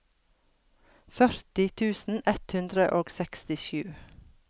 førti tusen ett hundre og sekstisju